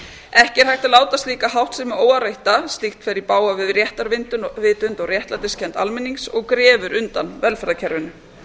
ekki er hægt að láta slíka háttsemi óáreitta ef slíkt fer í bága við réttarvitund og réttlætiskennd almennings og grefur undan velferðarkerfinu